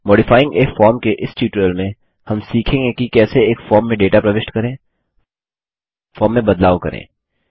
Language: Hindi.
मॉडिफाइंग ए फॉर्म के इस ट्यूटोरियल में हम सीखेंगे कि कैसे एक फॉर्म में डेटा प्रविष्ट करें फॉर्म में बदलाव करें